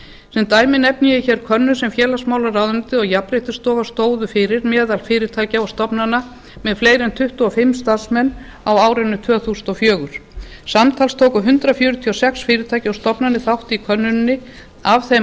sem dæmi nefni ég hér könnun sem félagsmálaráðuneytið og jafnréttisstofa stóðu fyrir meðal fyrirtækja og stofnana með fleiri en tuttugu og fimm starfsmenn á árinu tvö þúsund og fjögur samtals tóku hundrað fjörutíu og sex fyrirtæki og stofnanir þátt í könnuninni af þeim